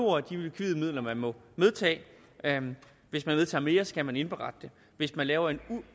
er de likvide midler man må medtage hvis man medtager mere skal man indberette det hvis man laver en